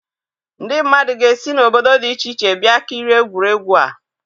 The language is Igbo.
Ndị mmadụ ga-esi n'obodo dị iche iche bịa kirie egwuregwu a.